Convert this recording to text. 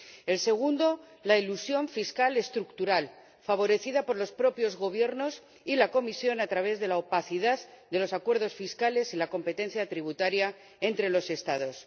El segundo, la elusión fiscal estructural, favorecida por los propios gobiernos y la Comisión a través de la opacidad de los acuerdos fiscales y la competencia tributaria entre los Estados.